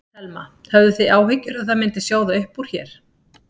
Telma: Höfðuð þið áhyggjur að það myndi sjóða upp úr hér?